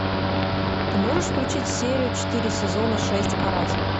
ты можешь включить серию четыре сезона шесть каратель